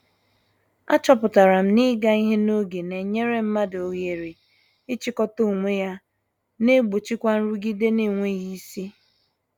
A chọpụtara m na- ịga ihe n'oge na-enyere mmadụ oghere ị chịkọta onwe ya, na egbochikwa nrụgide n'enweghị isi.